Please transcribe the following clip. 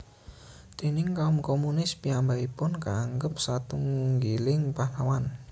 Déning kaum komunis piyambakipun kaanggep satunggiling pahlawan